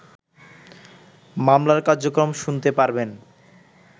মামলার কর্যক্রম শুনতে পারবেন